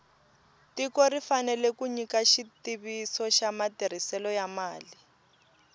tiko ri fanele ku nyika xitiviso xa matirhiselo ya mali